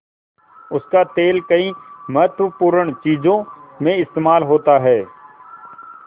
उसका तेल कई महत्वपूर्ण चीज़ों में इस्तेमाल होता है